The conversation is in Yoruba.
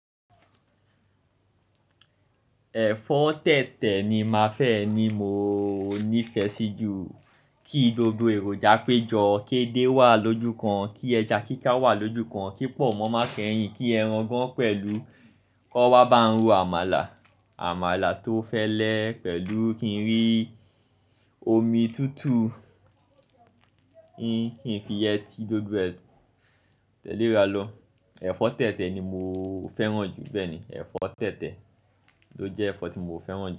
Ẹ̀fọ́ tẹ̀tẹ̀ ni má fẹ́, ni mo ní ìfẹ́ sí jù. Kí gbogbo èròjà pé jọ, kí edé wà lójú kan, kí ẹja kíkà wà lójú kan, kí pọ̀nmọ́ má kẹ́yìn, kí ẹran gan pẹ̀lú kan wa bá ń ro àmàlà, àmàlà tó fẹ́lẹ́ pẹ̀lú kí n rí omi tútù, kí n fi yẹ́ti gbogbo ẹ̀ tẹ̀léra lọ. Ẹ̀fọ́ tẹ̀tẹ̀ ni mo fẹ́ràn jù bẹ́ẹ̀ ni, ẹ̀fọ́ tẹ̀tẹ̀ ló jẹ́ ẹ̀fọ́ tí mo fẹ́ràn jù.